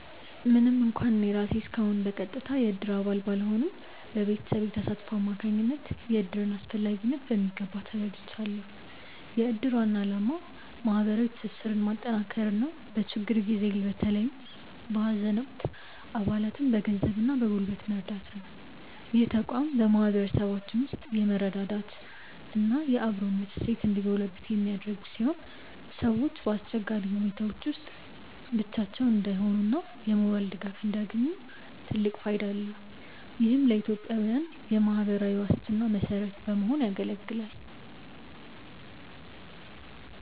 ምንም እንኳን እኔ ራሴ እስካሁን በቀጥታ የእድር አባል ባልሆንም፣ በቤተሰቤ ተሳትፎ አማካኝነት የእድርን አስፈላጊነት በሚገባ ተረድቻለሁ። የእድር ዋና ዓላማ ማህበራዊ ትስስርን ማጠናከርና በችግር ጊዜ በተለይም በሀዘን ወቅት አባላትን በገንዘብና በጉልበት መርዳት ነው። ይህ ተቋም በማህበረሰባችን ውስጥ የመረዳዳትና የአብሮነት እሴት እንዲጎለብት የሚያደርግ ሲሆን፣ ሰዎች በአስቸጋሪ ሁኔታዎች ውስጥ ብቻቸውን እንዳይሆኑና የሞራል ድጋፍ እንዲያገኙ ትልቅ ፋይዳ አለው። ይህም ለኢትዮጵያዊያን የማህበራዊ ዋስትና መሰረት ሆኖ ያገለግላል።